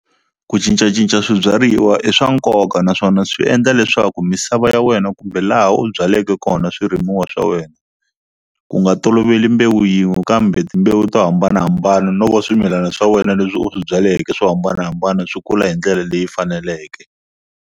Ku cincacinca swibyariwa i swa nkoka naswona swi endla leswaku misava ya wena kumbe laha u byaleke kona swirimiwa swa wena ku nga toloveli mbewu yin'we kambe timbewu to hambanahambana no va swimilana swa wena leswi u swi byaleke swo hambanahambana swi kula hi ndlela leyi faneleke.